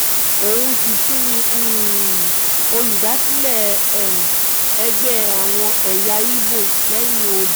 òun sì tún ni olùdásílẹ̀ ẹgbẹ́ àwọn ẹ̀yà igbó lẹ́yìn odi